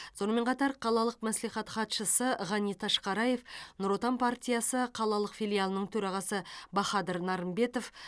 сонымен қатар қалалық мәслихат хатшысы ғани ташқараев нұр отан партиясы қалалық филиалының төрағасы бахадыр нарымбетов